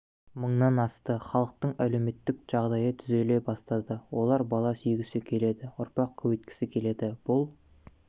мыңнан асты халықтың әлеуметтік жағдайы түзеле бастады олар бала сүйгісі келеді ұрпақ көбейткісі келеді бұл